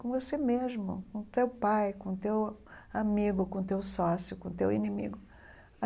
Com você mesmo, com teu pai, com teu amigo, com teu sócio, com teu inimigo.